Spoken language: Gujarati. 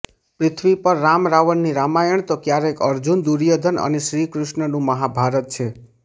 પૃથ્વી પર રામ રાવણની રામાયણ તો કયારેક અર્જુન દુર્યોધન અને શ્રી કૃષ્ણનું મહાભારત છે